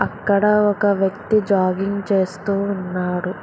అక్కడ ఒక వ్యక్తి జాగింగ్ చేస్తూ ఉన్నాడు.